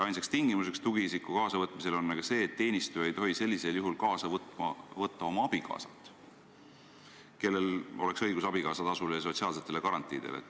Ainus tingimus tugiisiku kaasavõtmisel on see, et teenistuja ei tohi sellisel juhul kaasa võtta oma abikaasat, kellel oleks õigus saada abikaasatasu ja sotsiaalseid garantiisid.